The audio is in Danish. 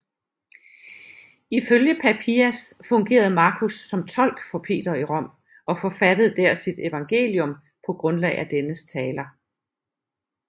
Ifølge Papias fungerede Markus som tolk for Peter i Rom og forfattede der sit evangelium på grundlag af dennes taler